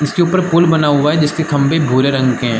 इसके ऊपर पूल बना हुआ हैं जिसके खंभे भूरे रंग के हैं।